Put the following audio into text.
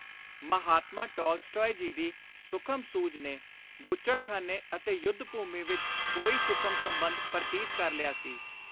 Mahatma Tolstoy ji ਦੀ ਸੁਖਮ ਸੂਝ ਨੇ ਬੁੱਚੜਖ਼ਾਨੇ ਅਤੇ ਯੁੱਧ-ਭੂਮੀ ਵਿਚ ਕੋਈ ਸੁਖਮ ਸੰਬੰਧ ਪਰਤੀਤ ਕਰ ਲਿਆ ਸੀ।